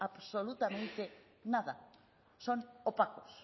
absolutamente nada son opacos